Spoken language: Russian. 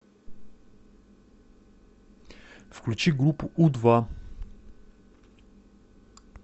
включи группу у два